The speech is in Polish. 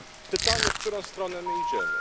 Pytanie, w którą stronę my idziemy.